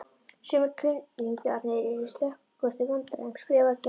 Sumir kunningjarnir eru í stökustu vandræðum skrifar Gerður.